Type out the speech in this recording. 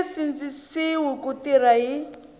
nge sindzisiwi ku tirha hi